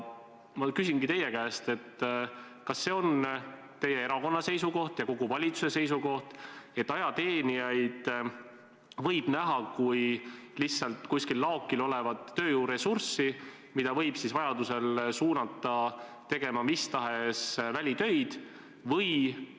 Ma küsingi teie käest: kas see on teie erakonna seisukoht ja kogu valitsuse seisukoht, et ajateenijaid võib võtta kui lihtsalt kuskil laokil olevat tööjõuressurssi, mida võib vajadusel suunata tegema mis tahes välitöid?